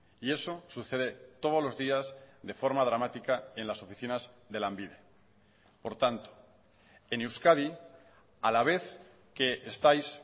y eso sucede todos los días de forma dramática en las oficinas de lanbide por tanto en euskadi a la vez que estáis